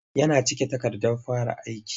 Yana cike takardar fara aiki.